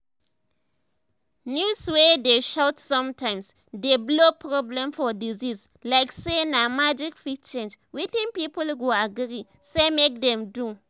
news wey dey shout sometimes dey blow problem for disease like say na magic fit change wetin people go agree say make dem do.